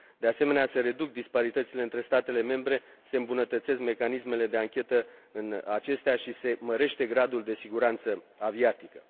De asemenea se reduc disparitățile între statele membre, se îmbunătățesc mecanismele de anchetă în acestea și se mărește gradul de siguranță aviatică.